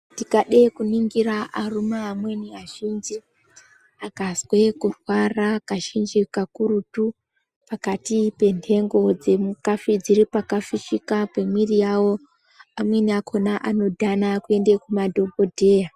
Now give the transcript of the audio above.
Tikade kuringira arume amweni azhinji akazwa kurwara kazhinji kakurutu pakati penhengo dzakafushika pemuviri mwawo amwni akona anodhana kuenda kumadhokodheya..